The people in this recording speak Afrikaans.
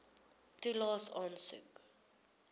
toelaes aansoek